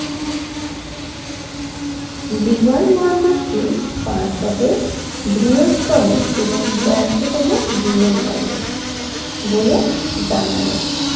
বিমানবন্দরটি পাঞ্জাবের বৃহত্তম এবং ব্যস্ততম বন্দর বলে জানা গেছে